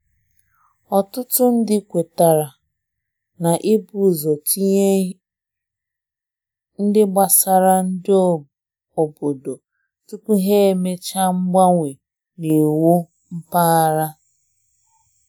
Ọtụtụ nde kwetara Ọtụtụ nde kwetara na i b'uzo tinye ihe ndi gbasara nde obodo tupu ha emecha mgbanwe n'iwu mpaghara.